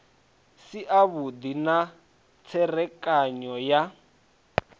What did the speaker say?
si avhudi na tserekano ya